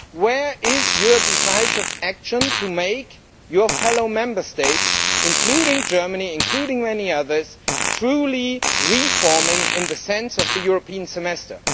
Where is your decisive action to make your fellow Member States, including Germany and many others, truly reforming in the sense of the European Semester?